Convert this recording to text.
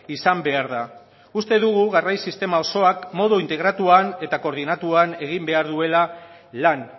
izan behar da uste dugu garraio sistema osoak modu integratuan eta koordinatuan egin behar duela lan